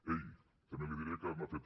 ei també li diré que m’ha fet